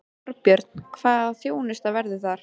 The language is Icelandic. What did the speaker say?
Þorbjörn: Hvaða þjónusta verður það?